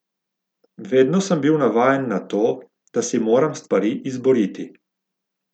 Vedno sem bil navajen na to, da si moram stvari izboriti.